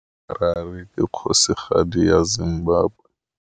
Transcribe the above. Harare ke kgosigadi ya Zimbabwe.